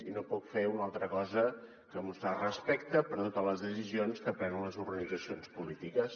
i no puc fer una altra cosa que mostrar respecte per totes les decisions que prenen les organitzacions polítiques